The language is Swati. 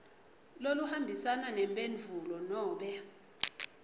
loluhambisana nemphendvulo nobe